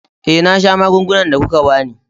Eh, na sha magungunan da kuka ba ni.